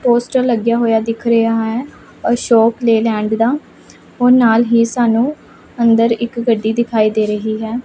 Poster ਲੱਗਿਆ ਹੋਇਆ ਦਿੱਖ ਰਿਹਾ ਹੈ ਅਸ਼ੋਕ ਲੇਲੈਂਡ ਦਾ ਔਰ ਨਾਲ ਹੀ ਸਾਨੂੰ ਅੰਦਰ ਇੱਕ ਗੱਡੀ ਦਿਖਾਈ ਦੇ ਰਹੀ ਹੈ।